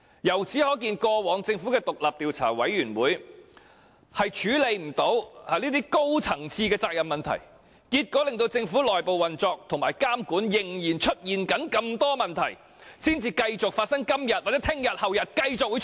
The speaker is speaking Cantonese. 由此可見，過往政府的獨立調查委員會均無法處理高層的責任問題，結果令政府的內部運作和監管仍然存在種種問題，而這些問題可能會在今天、明天和後天繼續出現。